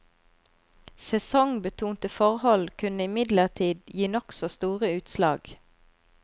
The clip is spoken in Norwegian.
Sesongbetonte forhold kunne imidlertid gi nokså store utslag.